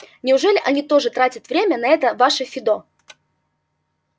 неужели они тоже тратят время на это ваше фидо